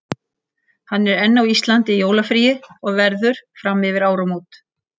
Hann er enn á Íslandi í jólafríi og verður fram yfir áramót.